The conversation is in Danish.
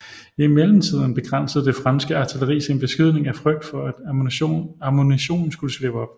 I mellemtiden begrænsede det franske artilleri sin beskydning af frygt for at ammunitionen skulle slippe op